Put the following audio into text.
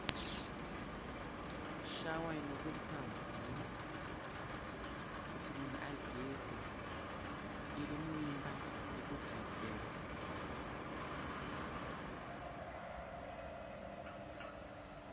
Shawa inoburitsa mvura kuti munhu ageze iri muimba yekugezera.